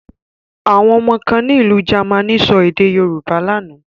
Àwọn ọmọ kan ní ìlú Germany sọ èdè Yorùbá lánàá.